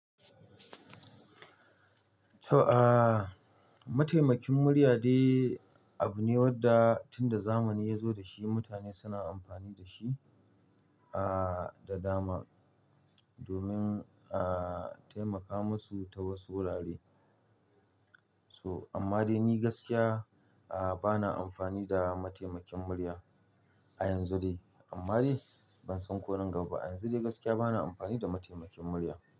To, aah, mataimakin murya dai abu ne wanda tunda zamani ya zo da shi mutane suna amfani da shi, aah, da dama domin, aah, taimaka musu ta wasu wurare. So amma dai ni gaskiya, aah, bana amfani da mataimakin murya a yanzu dai. Amma dai ban san ko nan gaba. A yanzu dai gaskiya bana amfani da mataimakin murya.